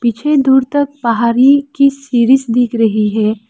मुझे दूर तक पहाड़ी की सीढ़ी दिख रही है।